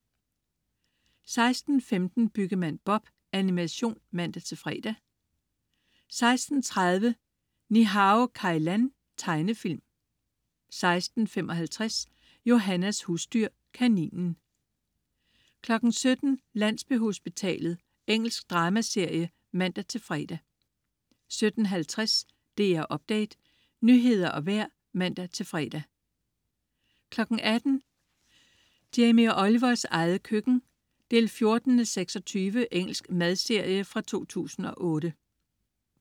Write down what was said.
16.15 Byggemand Bob. Animation (man-fre) 16.30 Ni-Hao Kai Lan. Tegnefilm 16.55 Johannas husdyr. Kaninen 17.00 Landsbyhospitalet. Engelsk dramaserie (man-fre) 17.50 DR Update. Nyheder og vejr (man-fre) 18.00 Jamie Olivers eget køkken 14:26. Engelsk madserie fra 2008